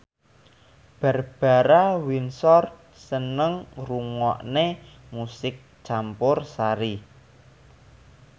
Barbara Windsor seneng ngrungokne musik campursari